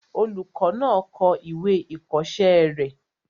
Olùkọ́ náà kọ ìwé ìkọ̀ọ́sẹ́ rẹ̀